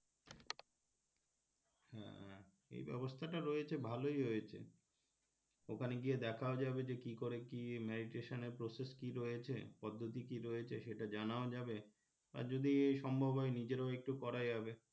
এই ব্যবস্থা টা রয়েছে ভালোই হয়েছে ওখানে গিয়ে দেখাও যাবে যে কি করে কি meditation এর process কি রয়েছে পদ্ধতি কি রয়েছে সেটা জানাও যাবে আর যদি সম্ভব হয় নিজেরাও একটু করাও যাবে,